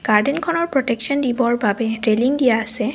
গাৰ্ডেনখনৰ protection দিবৰ বাবে railing দিয়া আছে।